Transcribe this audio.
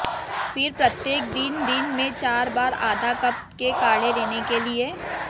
फिर प्रत्येक दिन दिन में चार बार आधा कप के काढ़े लेने के लिए